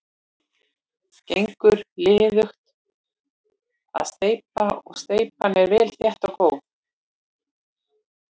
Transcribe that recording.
Gengur liðugt að steypa og steypan er vel þétt og góð.